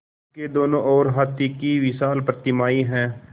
उसके दोनों ओर हाथी की विशाल प्रतिमाएँ हैं